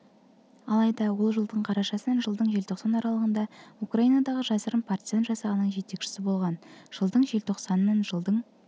алайда ол жылдың қарашасынан жылдың желтоқсан аралығында украинадағы жасырын партизан жасағының жетекшісі болғанын жылдың желтоқсанынан жылдың